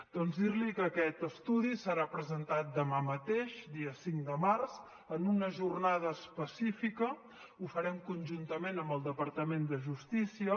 doncs dir li que aquest estudi serà presentat demà mateix dia cinc de març en una jornada específica ho farem conjuntament amb el departament de justícia